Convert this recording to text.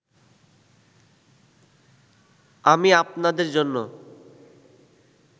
আমি আপনাদের জন্য